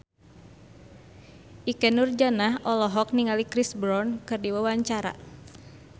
Ikke Nurjanah olohok ningali Chris Brown keur diwawancara